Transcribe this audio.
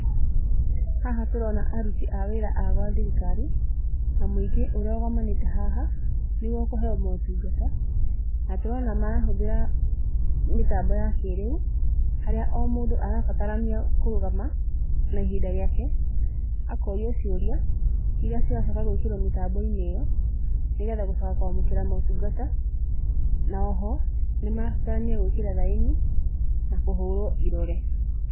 Haha tũrona aruti a wĩra a gwa thirikari, na mũingĩ ũrĩa ũgomanĩte haha, nĩguo kũheo motungata. Na tũrona marahũthĩra mĩtambo ya kĩrĩu, harĩa o mũndũ arabatarania kũrũgama, na ihinda rĩake, akorio ciũria, irĩa ciracoka gwĩkĩrwo mĩtambo-inĩ ĩyo, nĩgetha gũcoka kwamũkĩra motungata, na oho, nĩ marabatarania gwĩkĩra thaĩni, na kũhũrwo irore.